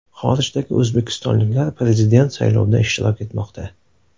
Xorijdagi o‘zbekistonliklar Prezident saylovida ishtirok etmoqda.